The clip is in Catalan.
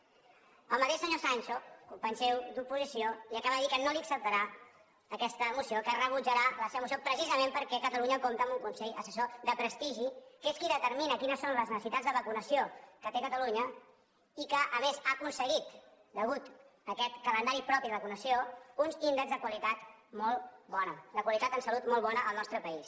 el mateix senyor sancho company seu d’oposició li acaba de dir que no li acceptarà aquesta moció que rebutjarà la seva moció precisament perquè catalunya compta amb un consell assessor de prestigi que és qui determina quines són les necessitats de vacunació que té catalunya i que a més ha aconseguit a causa d’aquest calendari propi de vacunació uns índexs de qualitat molt bona de qualitat en salut molt bona al nostre país